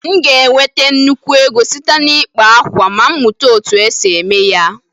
M ga-enweta nnukwu ego site n'ịkpa akwa ma m mụta otú e si eme ya